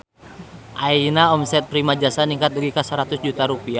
Ayeuna omset Primajasa ningkat dugi ka 100 juta rupiah